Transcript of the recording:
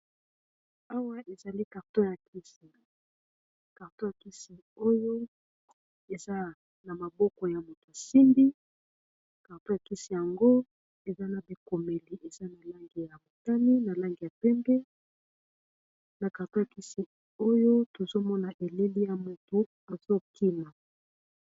Awa ezali karto ya kisi karto ya kisi oyo eza na maboko ya moto asimbi karto ya kisi yango eza na bikomeli eza nalangi ya botani na lange ya pembe na karto ya kisi oyo tozomona eleli ya moto azokima.